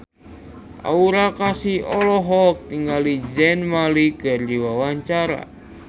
Aura Kasih olohok ningali Zayn Malik keur diwawancara